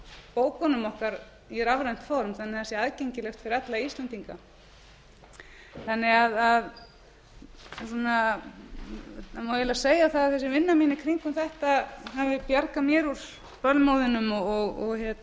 bókunum okkar í rafrænt form þannig að það sé aðgengilegt fyrir alla íslendinga það má því eiginlega segja að þessi vinna mín í kringum þetta hafi bjargað mér úr